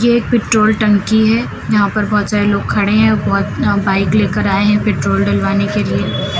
ये एक पेट्रोल टंकी है जहां पर बहोत सारे लोग खड़े हैं बहोत बाइक लेकर आए हैं पेट्रोल डलवाने के लिए।